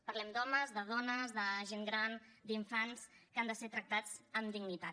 parlem d’homes de dones de gent gran d’infants que han de ser tractats amb dignitat